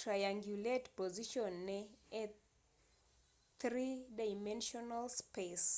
triangulate position ne e three dimensional space